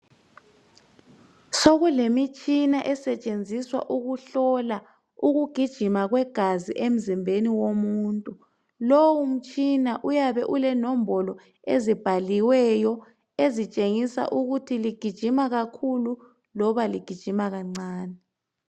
Sokulemitshina esetshenziswa ukuhlola ukugijima kwegazi emzimbeni womuntu , lowu mtshina uyabe ulenombolo ezibhaliweyo ezitshengisa ukuthi ligijima kakhulu loba ligijima kancani